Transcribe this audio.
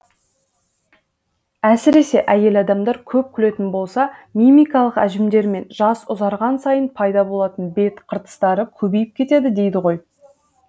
әсіресе әйел адамдар көп күлетін болса мимикалық әжімдер мен жас ұзарған сайын пайда болатын бет қыртыстары көбейіп кетеді дейді ғой